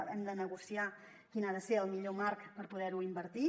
hem de negociar quin ha de ser el millor marc per poder·ho invertir